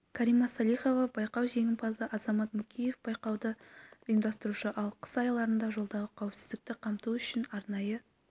карима салихова байқау жеңімпазы азамат мукеев байқауды ұйымдастырушы ал қыс айларында жолдағы қауіпсіздікті қамту үшін арнайы